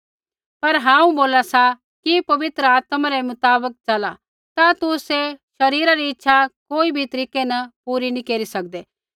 पर हांऊँ बोला सा कि पवित्र आत्मा रै मुताबक चला ता तुसै शरीरा री इच्छा कोई भी तरीकै न पूरी नैंई केरी सकदे